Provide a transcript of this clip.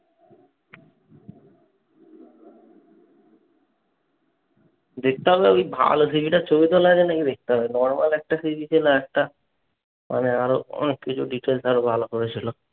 দেখতে হবে। ওই ভালো থেকে একটা ছবি তোলা আছে নাকি দেখতে হবে। নরমাল একটা ছবি তুলে একটা মানে আরো অনেক কিছু details আরো ভালো করে ছিল।